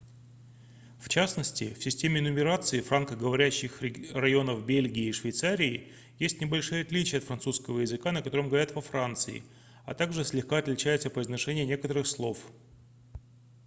в частности в системе нумерации франко-говорящих районов бельгии и швейцарии есть небольшие отличия от французского языка на котором говорят во франции а также слегка отличается произношение некоторых слов